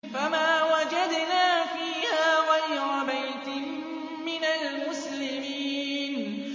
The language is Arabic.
فَمَا وَجَدْنَا فِيهَا غَيْرَ بَيْتٍ مِّنَ الْمُسْلِمِينَ